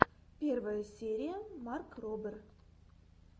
первая серия марк робер